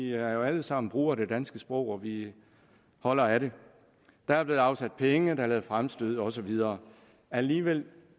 er jo alle sammen brugere af det danske sprog og vi holder af det der er blevet afsat penge der blev lavet fremstød og så videre alligevel